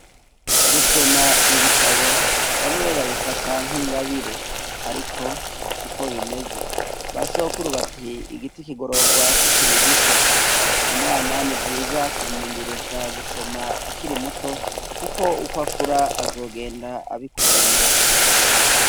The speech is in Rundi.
Gusoma ibitabo bamwe babifata nk'ingabire ariko siko bimeze. Basogokura bati igiti kigororwa kikiri gito. Umwana nivyiza kumumenyereza gusoma akiri muto kuko ukwakura azogenda abikunda.